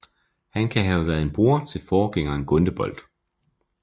Han kan have været en bror til forgængeren Gundebold